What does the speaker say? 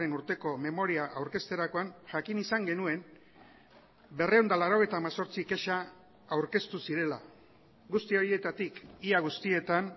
urteko memoria aurkezterakoan jakin izan genuen berrehun eta laurogeita hemezortzi kexa aurkeztu zirela guzti horietatik ia guztietan